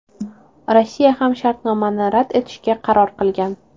Rossiya ham shartnomani rad etishga qaror qilgan.